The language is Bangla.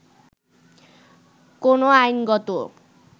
কোন আইনগত